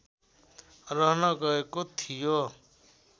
रहन गएको थियो